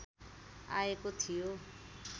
आएको थियो